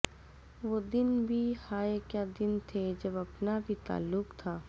وہ دن بھی ہائے کیا دن تھے جب اپنا بھی تعلق تھا